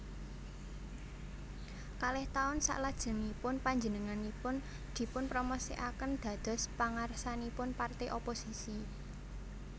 Kalih taun salajengipun panjenenganipun dipunpromosikaken dados pangarsanipun parté oposisi